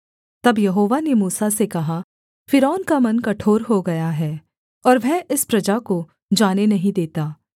तब यहोवा ने मूसा से कहा फ़िरौन का मन कठोर हो गया है और वह इस प्रजा को जाने नहीं देता